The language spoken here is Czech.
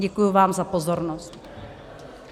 Děkuji vám za pozornost.